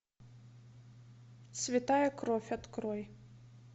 святая кровь открой